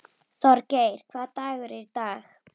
Þorgeir, hvaða dagur er í dag?